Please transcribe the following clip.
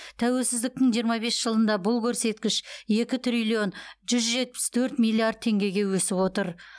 тәуелсіздіктің жиырма бес жылында бұл көрсеткіш екі триллион жүз жетпіс төрт миллиард теңгеге өсіп отыр